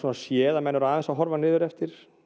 séð að menn eru aðeins að horfa niðureftir